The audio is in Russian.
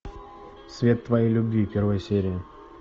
свет твоей любви первая серия